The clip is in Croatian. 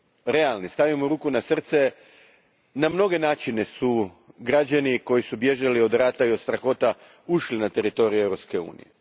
realni, stavimo ruku na srce, na mnoge su načine građani koji su bježali od rata i od strahota ušli na teritorij Europske unije.